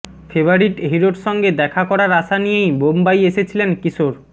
favourite হিরোর সঙ্গে দেখা করার আশা নিয়েই বোম্বাই এসেছিলেন কিশোর